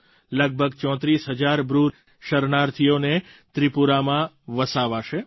લગભગ 34000 બ્રૂ શરણાર્થીઓને ત્રિપુરામાં વસાવાશે